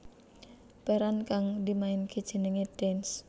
Peran kang dimainaké jenengé Dance